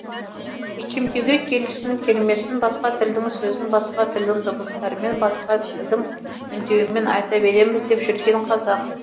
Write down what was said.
икемдеуге келсін келмесін басқа тілдің сөзін басқа тілдің дыбыстарымен басқа тілдің үндеуімен айта береміз деп жүрген қазақ